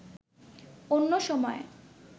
অন্য সময়